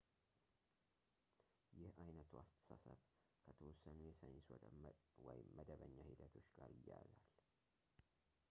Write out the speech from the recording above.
ይህ ዓይነቱ አስተሳሰብ ከተወሰኑ የሳይንስ ወይም መደበኛ ሂደቶች ጋር ይያያዛል